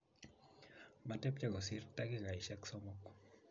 matepche kosir takikaishek somok